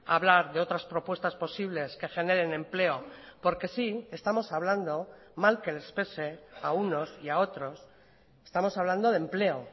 a hablar de otras propuestas posibles que generen empleo porque sí estamos hablando mal que les pese a unos y a otros estamos hablando de empleo